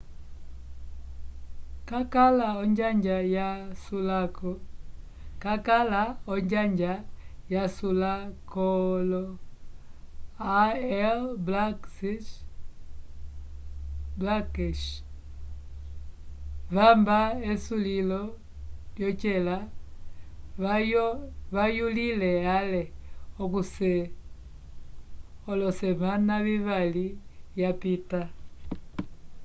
cakala onjanja yasulakoolo all blacks vamba esulilo lyocela vayulile ale olesemana vivali vyapita